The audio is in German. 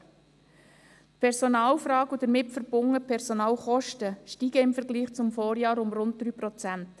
In der Personalfrage steigen die damit verbundenen Personalkosten im Vergleich zum Vorjahr um rund 3 Prozent.